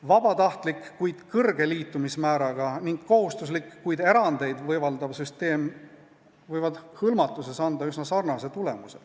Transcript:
Vabatahtlik, kuid kõrge liitumismääraga, ning kohustuslik, kuid erandeid võimaldav süsteem võivad hõlmatuses anda üsna sarnase tulemuse.